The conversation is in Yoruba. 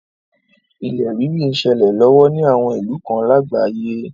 Ilẹ̀ rírì n ṣẹlẹ̀ lọ́wọ́ ni àwọn ìlú kan lágbàáyé.